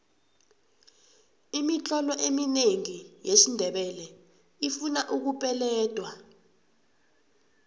imitlolo eminengi yesindebele ifuna ukupeledwa